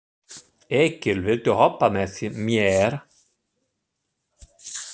Egill, viltu hoppa með mér?